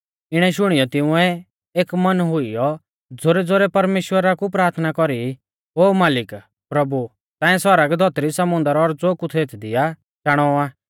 इणै शुणियौ तिंउऐ एक मन हुइयौ ज़ोरैज़ोरै परमेश्‍वरा कु प्राथना कौरी ओ मालिक प्रभु ताऐं सौरग धौतरी समुन्दर और ज़ो कुछ़ एथदी आ चाणौ आ